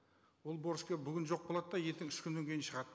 ол борышкер бүгін жоқ болады да ертең үш күннен кейін шығады